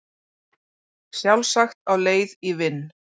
Sjálfsagt á leið í vinn